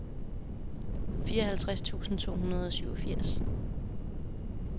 fireoghalvtreds tusind to hundrede og syvogfirs